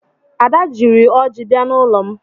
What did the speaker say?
Ada jiri ọjị bịa n'ụlọ m.